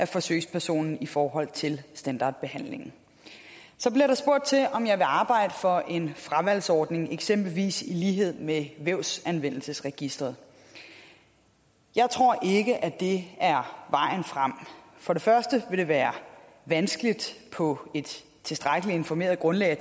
forsøgspersonen i forhold til standardbehandlingen så bliver der spurgt til om jeg vil arbejde for en fravalgsordning eksempelvis i lighed med vævsanvendelsesregisteret jeg tror ikke at det er vejen frem for det første vil det være vanskeligt på et tilstrækkelig informeret grundlag at